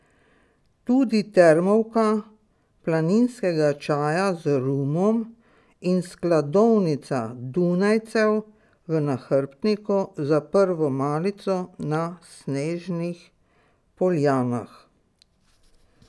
Tudi termovka planinskega čaja z rumom in skladovnica dunajcev v nahrbtniku za prvo malico na snežnih poljanah ...